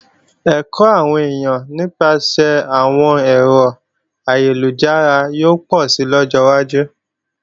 Ẹ̀kọ́ àwọn èèyàn nípasẹ̀ àwọn ẹ̀rọ ayélujára yóò pọ̀si lọ́jọ́ wájú